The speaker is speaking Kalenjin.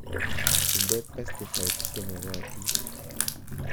Inde pesticides che makotin